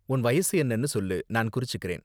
உன் வயசு என்னனு சொல்லு, நான் குறிச்சுக்கறேன்.